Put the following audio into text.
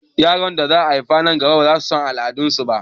Yaran da za a haifa nan gaba baza su san al'adu su ba